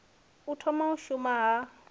u thoma u shuma ha